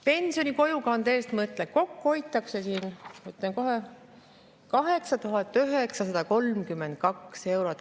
Pensioni kojukande arvel hoitakse siin kokku, ütlen kohe, 8932 eurot.